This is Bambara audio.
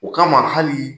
O kama hali